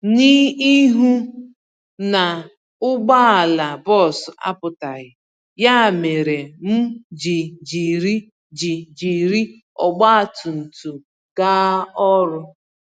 N'ihu na ụgbọala bus apụtaghị, ya méré m ji jiri ji jiri ọgba tum tum gaa ọrụ.